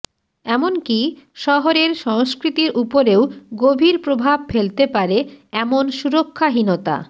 এমনকি শহরের সংস্কৃতির উপরেও গভীর প্রভাব ফেলতে পারে এমন সুরক্ষাহীনতা